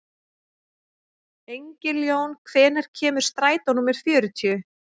Engiljón, hvenær kemur strætó númer fjörutíu?